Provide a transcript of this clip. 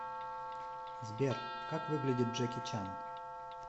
сбер как выглядит джеки чан